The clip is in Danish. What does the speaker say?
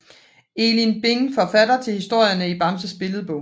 Elin Bing forfatter til historierne i Bamses Billedbog